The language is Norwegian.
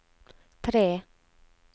tre